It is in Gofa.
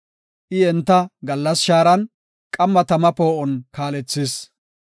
I enta gallas shaaran, qamma tama poo7on kaalethis.